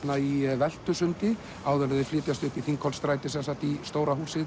í Veltusundi áður en þau flytjast upp í Þingholtsstræti í stóra húsið